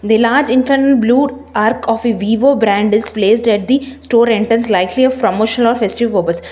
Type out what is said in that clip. The large blue arc of a vivo brand is placed at the store entrance likely a promotional or festive purpose.